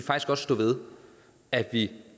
stå ved at vi